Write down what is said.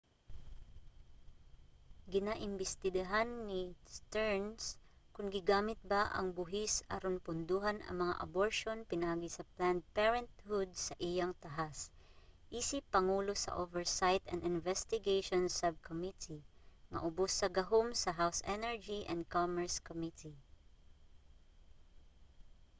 ginaimbestigahan ni stearns kon gigamit ba ang buhis aron pondohan ang mga aborsyon pinaagi sa planned parenthood sa iyang tahas isip pangulo sa oversight and investigations subcommittee nga ubos sa gahom sa house energy and commerce committee